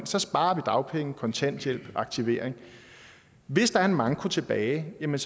så sparer vi dagpenge kontanthjælp aktivering hvis der er en manko tilbage er